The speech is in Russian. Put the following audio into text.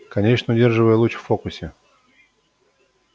конечно удерживая луч в фокусе